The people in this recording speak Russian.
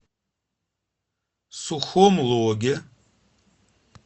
сухом логе